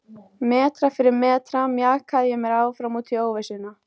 Metra fyrir metra mjakaði ég mér áfram út í óvissuna.